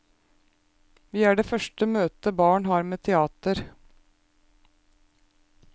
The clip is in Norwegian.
Vi er det første møtet barn har med teater.